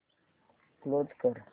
close कर